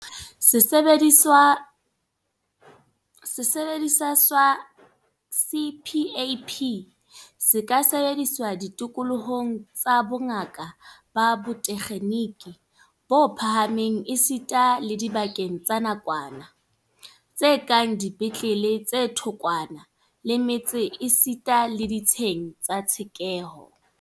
Sesebediswa sa CPAP se ka sebediswa ditikolohong tsa bongaka ba botekgeniki bo phahameng esita le dibakeng tsa nakwana, tse kang dipetlele tse thokwana le metse esita le ditsheng tsa tshekeho.